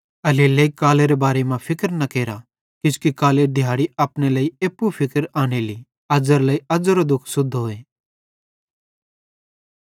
एल्हेरेलेइ कालेरे बारे मां फिक्र न केरथ किजोकि कालेरी दिहाड़ी अपने लेइ एप्पू फिक्र आनेली अज़्ज़ेरे लेइ अज़ेरो फिक्र सुद्धोए